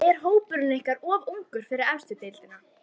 En er hópurinn ykkar of ungur fyrir efstu deildina?